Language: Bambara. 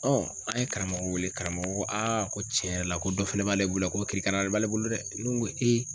an ye karamɔgɔ weele karamɔgɔ ko ko tiɲɛ yɛrɛ la ko dɔ fɛnɛ b'ale bolo yan k'o kirikaralen b'ale bolo dɛ. Ne ŋo